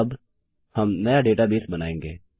अब हम नया डेटाबेस बनायेंगे